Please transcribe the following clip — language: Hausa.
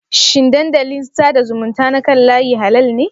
Shin dandalin sada zumunta na kan layi halal ne?